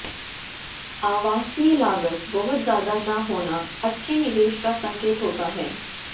आवासीय लागत बहुत ज्यादा न होना अच्छे निवेश का संकेत होता है